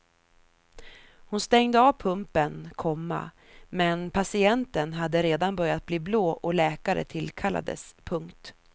Hon stängde av pumpen, komma men patienten hade redan börjat bli blå och läkare tillkallades. punkt